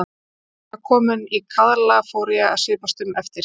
Þegar ég var kominn í kaðla fór ég að svipast um eftir